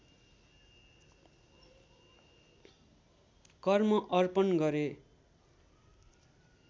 कर्म अर्पण गरे